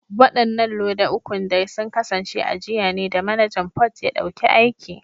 Wadannan loda ukun dai sun kasance a jiya ne da Manajan Port ya dauki aiki